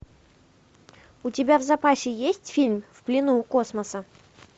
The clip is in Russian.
у тебя в запасе есть фильм в плену у космоса